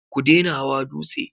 Ku dena hawa dutse!